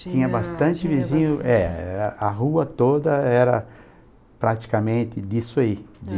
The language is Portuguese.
Tinha bastante vizinho, é é, a rua toda era praticamente disso aí, de...